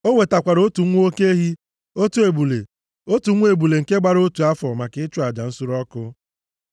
O wetakwara otu nwa oke ehi, otu ebule, otu nwa ebule nke gbara otu afọ maka aja nsure ọkụ.